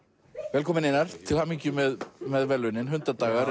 velkominn Einar til hamingju með með verðlaunin